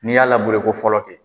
N'i y'a ko fɔlɔ kɛ,